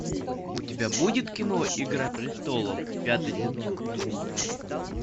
у тебя будет кино игра престолов пятый сезон серия девять